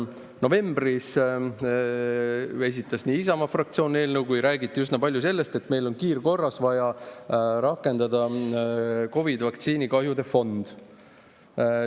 Novembris esitas Isamaa fraktsioon eelnõu, räägiti üsna palju sellest, et meil on kiirkorras vaja rakendada COVID‑i vaktsiini kahjude fond.